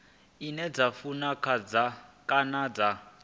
ine dza funa kana dza